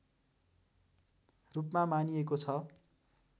रूपमा मानिएको छ